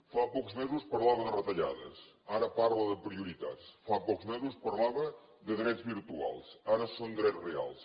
fa pocs mesos parlava de retallades ara parla de prioritats fa pocs mesos parlava de drets virtuals ara són drets reals